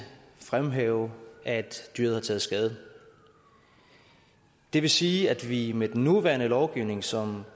fremhæve at dyret har taget skade det vil sige at vi med den nuværende lovgivning som